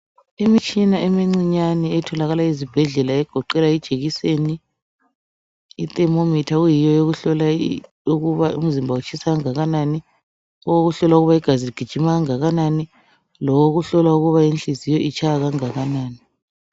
Imitshina emincinyane etholakala ezibhedlela egoqela ijekiseni, ithermometer eyiyo eyokuhlola ukuba umzimba kutshisa okungakanani, owokuhlola ukuthi igazi ligijima okungakanani lowokuhlola ukuba inhliziyo itshaya okungakanani.